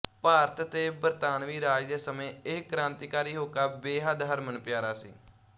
ਭਾਰਤ ਤੇ ਬਰਤਾਨਵੀ ਰਾਜ ਦੇ ਸਮੇਂ ਇਹ ਕ੍ਰਾਂਤੀਕਾਰੀ ਹੋਕਾ ਬੇਹੱਦ ਹਰਮਨਪਿਆਰਾ ਸੀ